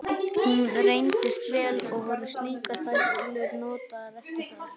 Hún reyndist vel, og voru slíkar dælur notaðar eftir það.